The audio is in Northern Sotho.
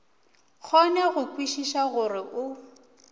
kgone go kwešiša gore o